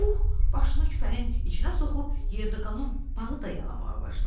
Puh başını küpənin içinə soxub yerdə qalan balı da yalamağa başladı.